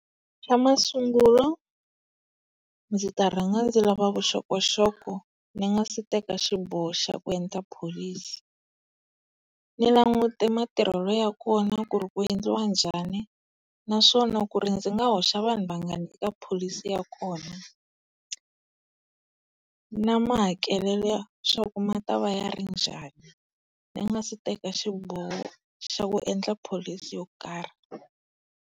Xa masungulo, ndzi ta rhanga ndzi lava vuxokoxoko ni nga si teka xiboho xa ku endla pholisi. Ni languta matirhelo ya kona ku ri ku endliwa njhani naswona ku ri ndzi nga hoxa vanhu vangani eka pholisi ya kona, na makehelelo swa ku ma ta va ya njhani ni nga si teka xiboho xa ku endla pholisi yo karhi.